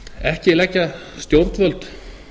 ekki leggja til dæmis stjórnvöld